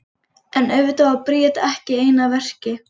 En auðvitað var Bríet ekki ein að verki.